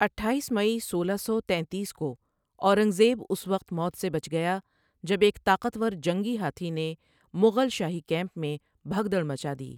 اٹھاییس مئی سولہ سو تینتیس کو اورنگ زیب اس وقت موت سے بچ گیا جب ایک طاقتور جنگی ہاتھی نے مغل شاہی کیمپ میں بھگدڑ مچادی۔